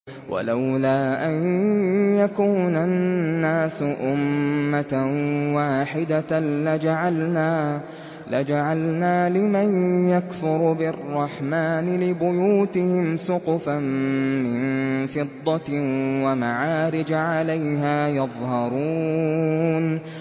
وَلَوْلَا أَن يَكُونَ النَّاسُ أُمَّةً وَاحِدَةً لَّجَعَلْنَا لِمَن يَكْفُرُ بِالرَّحْمَٰنِ لِبُيُوتِهِمْ سُقُفًا مِّن فِضَّةٍ وَمَعَارِجَ عَلَيْهَا يَظْهَرُونَ